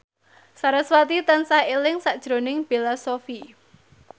sarasvati tansah eling sakjroning Bella Shofie